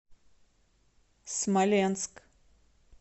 смоленск